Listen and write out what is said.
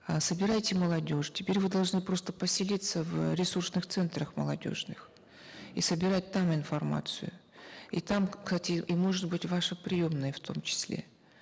э собирайте молодежь теперь вы должны просто поселиться в ресурсных центрах молодежных и собирать там информацию и там кстати и может быть ваша приемная в том числе